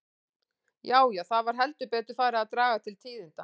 Já, já, það var heldur betur farið að draga til tíðinda!